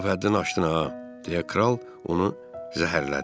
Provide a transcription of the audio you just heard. Lap həddini aşdın ha, deyə kral onu zəhərlədi.